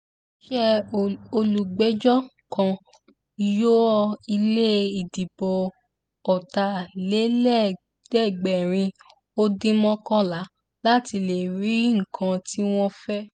ó ní ṣe ni olùpẹ̀jọ́ kan yọ ilé ìdìbò ọ̀tàlélẹ́ẹ̀ẹ́dẹ́gbẹ̀rin ó dín mọ́kànlá láti lè rí nǹkan tí wọ́n fẹ́